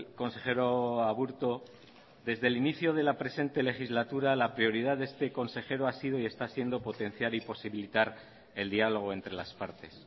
consejero aburto desde el inicio de la presente legislatura la prioridad de este consejero ha sido y está siendo potenciar y posibilitar el diálogo entre las partes